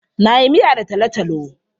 Na yi miya da talotalo.